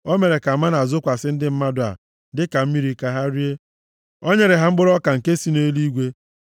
O mere ka mánà zokwasị ndị mmadụ a dịka mmiri, ka ha rie. O nyere ha mkpụrụ ọka nke si nʼeluigwe.